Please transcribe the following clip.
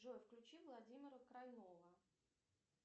джой включи владимира крайнова